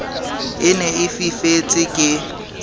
e ne e fifetse ke